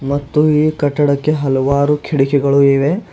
ಮತ್ತು ಈ ಕಟ್ಟಡಕ್ಕೆ ಹಲವಾರು ಕಿಡಕಿಗಳು ಇವೆ.